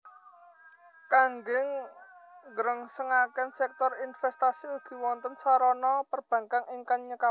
Kangge nggrengsengaken sèktor inventasi ugi wonten sarana perbankkan ingkang nyekapi